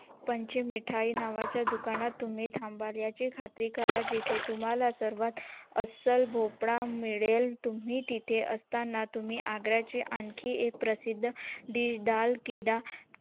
पंच मिठाई नावा च्या दुकान तुम्ही थांबता याची खात्री करा तेथे तुम्हला सर्वात अस्सल भोपळा मिळेल तुम्ही तेथे असताना तुम्ही आग्रा चे खान आणखी एक प्रसिद्द dish डाळ कीड